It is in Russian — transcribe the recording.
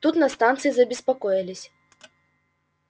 тут на станции забеспокоились